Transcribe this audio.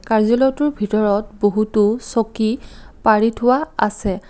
কায্যালয়টোৰ ভিতৰত বহুতো চকী পাৰি থোৱা আছে।